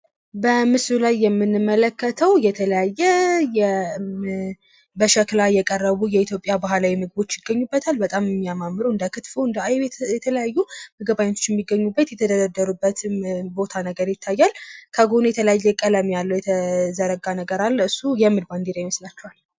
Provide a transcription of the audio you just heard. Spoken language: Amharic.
በምስሉ ላይ የምንመለከተው የተለያየ በሸክላ የቀረቡ የኢትዮጵያ ባህላዊ ምግቦች ይገኝበታል። በጣም ሚያማምሩ እንደ ክትፎ እንድ አይብ የተለያዩ ምግብ አይነቶች ሚገኙብምት የተደረደሩበትም ቦታ ነገር ይታያል። ከጎኑ የተለያየ ቀለም ያለው የተዘረጋ ነገር አለ እሱ የምን ባንዲራ ይመስላችኋል?